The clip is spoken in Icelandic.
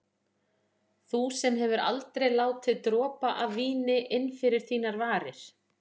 Þú sem hefur aldrei látið dropa af víni inn fyrir þínar varir.